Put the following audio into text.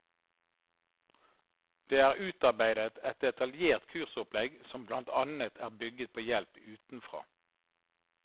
Det er utarbeidet et detaljert kursopplegg som blant annet er bygget på hjelp utenfra.